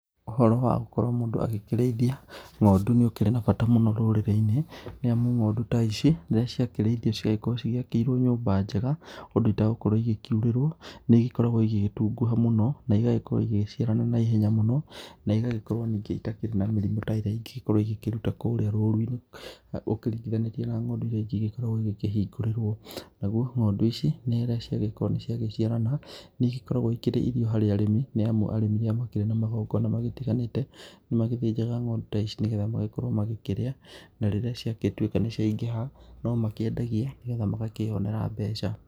Ũhoro wagũkorwo mũndũ akĩrĩithia ng'ondu nĩ ũkĩrĩ na mbata mũno rũrĩrĩ-inĩ, nĩamu ng'ondu ta ici rĩrĩa ciakĩrĩithio ciakorwo cigĩakĩirwo nyũmba njega ũndũ itagũkorwo igĩkĩurĩrwo nĩ igĩkoragwo igĩgĩtunguha mũno, na igagĩkorwo igĩgĩciarana na ihenya mũno na ĩgagĩkorwo ningĩ itakĩrĩ na mĩrimũ ta ĩrĩa ingĩgikorwo ikĩruta kũrĩa rũrũ-inĩ, ũkĩringithanĩtie na ngondu irĩa ingĩ igĩkoragwo ikĩhingũrĩrwo, naguo ng'ondu ici nĩ rĩrĩa ciagĩkorwo nĩ ciagĩciarana nĩigĩkoragwo ikĩrĩ irio harĩ arĩmi, nĩamu arĩmi rĩrĩa makĩrĩ na magongona marĩa matiganĩte, nĩ magĩthĩnjaga ngondu ta ici, nĩgetha magĩkorwo magĩkĩrĩa na rĩrĩa ciagĩtuĩka nĩ ciaingĩha no makĩendagia, nĩgetha magakĩonera mbeca.